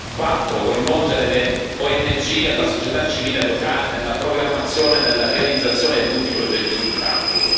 4 coinvolgere le ONG e la società civile locale nella programmazione e nella realizzazione di tutti i progetti sul campo